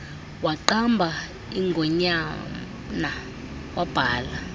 waqamba ingonyana wabhala